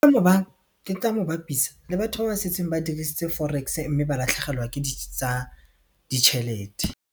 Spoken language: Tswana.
ke tla mo bapisa le batho ba ba setseng ba dirisitse forex mme ba latlhegelwa ke di tsa ditšhelete.